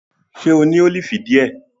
Ṣe o ni awọn olifi diẹ?